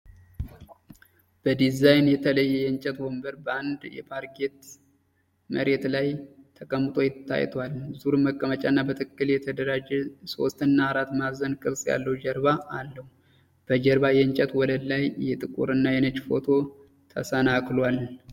በዲዛይን የተለየ የእንጨት ወንበር በአንድ የፓርኬት መሬት ላይ ተቀምጦ ታይቷል። ዙር መቀመጫ እና በትክክል የተደራጀ የሶስትና አራት ማዕዘን ቅርጽ ያለው ጀርባ አለው። በጀርባ የእንጨት ወለል ላይ የጥቁርና ነጭ ፎቶ ተሰናክሏል።